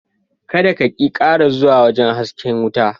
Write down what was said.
Kada ka/ki kara zuwa wajen hasken watan…